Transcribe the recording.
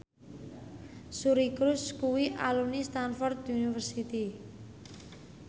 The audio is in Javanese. Suri Cruise kuwi alumni Stamford University